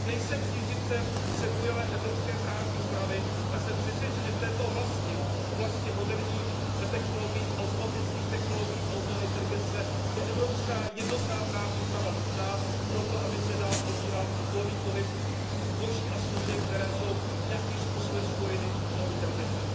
Nejsem příznivcem přebujelé evropské právní úpravy, ale jsem přesvědčen, že v této oblasti, oblasti moderních technologií, automatických technologií a umělé inteligence je evropská jednotná právní úprava nutná proto, aby zde dále probíhal volný pohyb zboží a služeb, které jsou nějakým způsobem spojeny s umělou inteligencí.